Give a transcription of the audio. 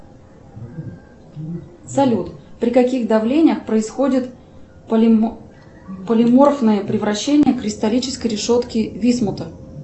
салют при каких давлениях происходят полиморфное превращение кристаллической решетки висмута